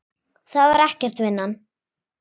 Það var ekkert, vinan.